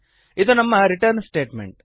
ಇದು ನಮ್ಮ return statement